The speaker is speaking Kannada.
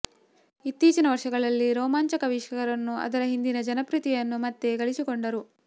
ಇತ್ತೀಚಿನ ವರ್ಷಗಳಲ್ಲಿ ರೋಮಾಂಚಕ ವೀಕ್ಷಕರನ್ನು ಅದರ ಹಿಂದಿನ ಜನಪ್ರಿಯತೆಯನ್ನು ಮತ್ತೆ ಗಳಿಸಿಕೊಂಡರು